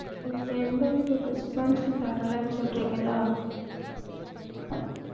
உங்களுக்கு எந்த ஒரு response ம் தரல னு சொல்றிங்களா